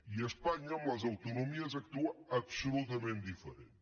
i espanya amb les autonomies actua absolutament diferent